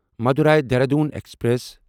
Madurai Dehradun express